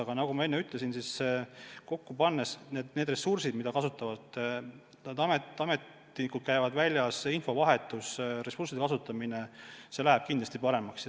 Aga nagu ma enne ütlesin, kui kokku panna ressursid, mida kaks asutust kasutavad – nad ju ametlikult käivad väljas, pluss infovahetus ja muude ressursside kasutamine –, siis töö läheb kindlasti paremaks.